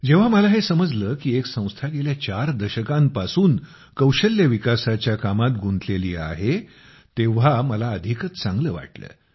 जेव्हा मला हे समजलं की एक संस्था गेल्या चार दशकांपासून कौशल्य विकासाच्या कामात गुतलेली आहे तर मला अधिकच चांगल वाटलं